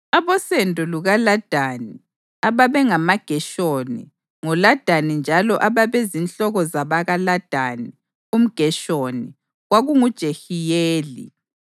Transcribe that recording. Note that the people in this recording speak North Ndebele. Abosendo lukaLadani, ababe ngamaGeshoni ngoLadani njalo ababezinhloko zabakaLadani umGeshoni, kwakunguJehiyeli,